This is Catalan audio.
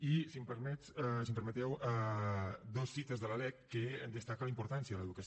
i si m’ho permeteu dues cites de la lec que en destaquen la importància de l’educació